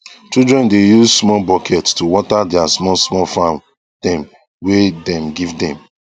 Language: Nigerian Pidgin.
children dae use small bucket to water their small small farm them wae dem give them